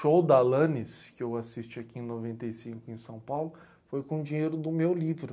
Show da Alanis, que eu assisti aqui em noventa e cinco em São Paulo, foi com dinheiro do meu livro.